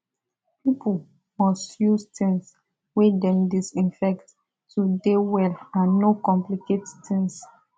pipo must use tings wey dem disinfect to dey well and no complicate tings